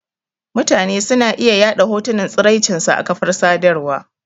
Mutane suna iya yaɗa hotunan tsiraicin su a kafar sadarwa.